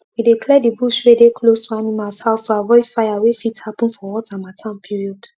we dey clear the bush wey dey close to animals house to avoid fire wey fit happen for hot hamattan period